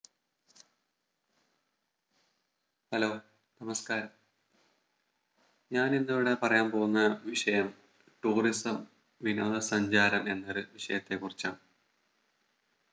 Hello നമസ്ക്കാരം ഞാൻ ഇന്ന് ഇവിടെ പറയാൻ പോവുന്ന വിഷയം Tourism വിനോദ സഞ്ചാരം എന്നൊരു വിഷയത്തെ കുറിച്ചാണ്